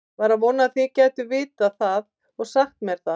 var að vona þið gætuð vitað það og sagt mér það